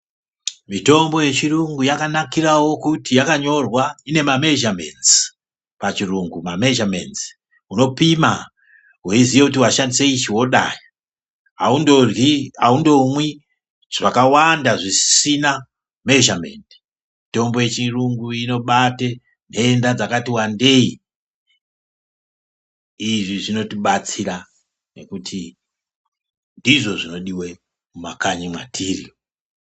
Mitombo yechirungu yakanakirawo kuti yakanyorwa, ine mamezhamenzi pachirungu mamhezhamenzi. Unopima weiziye kuti washandise ichi wodai. Haundoryi, haundomwi zvakawanda zvisina mezhamendi. Mitombo yechirungu inobate nhenda dzakati wandei. Izvi zvinotibatsira nekuti ndizvo zvinodiwe mumakanyi mwatiri.